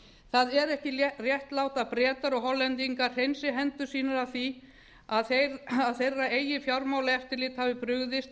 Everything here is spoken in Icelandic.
það er ekki réttlátt að bretar og hollendingar hreinsi hendur sínar af því að þeirra eigið fjármálaeftirlit hafi brugðist